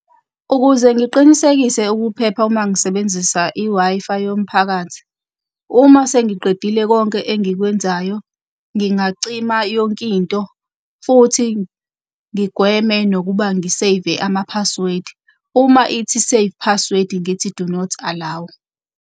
Ukuze ngiqinisekise ukuphepha uma ngisebenzisa i-Wi-Fi yomphakathi, uma sengiqedile konke engikwenzayo, ngingacima yonkinto futhi ngigweme nokuba ngi-save-e ama-password. Uma ithi save password ngithi do not allow.